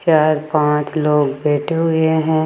चार पांच लोग बैठे हुएं हैं।